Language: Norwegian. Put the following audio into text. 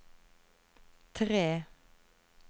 tre